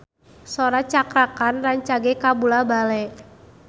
Sora Cakra Khan rancage kabula-bale